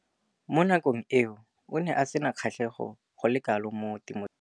Mo nakong eo o ne a sena kgatlhego go le kalo mo temothuong.